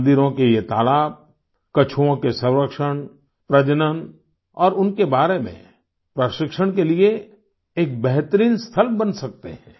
मंदिरों के ये तालाब कछुओं के संरक्षण प्रजनन और उनके बारे में प्रशिक्षण के लिए एक बेहतरीन स्थल बन सकते हैं